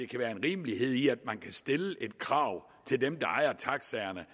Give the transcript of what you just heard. kan være en rimelighed i at man kan stille et krav til dem der ejer taxaerne